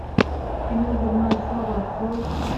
кино дурная слава открой